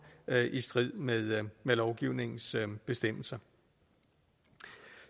i strid med lovgivningens bestemmelser